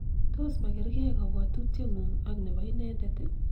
tos ma kerkei kabwotutie ng'ung' ak nebo inendet?